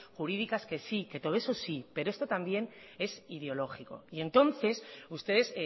jurídicas que sí todo eso sí pero esto también es ideológico y entonces ustedes